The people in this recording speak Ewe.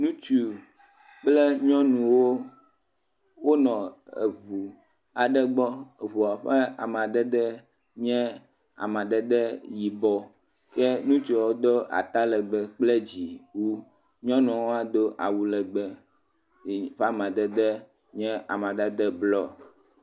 Ŋutsu kple nyɔnuwo, wonɔ eŋu aɖe gbɔ, ŋua ƒe amadede nye amadede yibɔ, ke ŋutsuawo do atalegbe kple dziwu, nyɔnuwo hã do awulegbe yi ƒe amadede nye blɔ.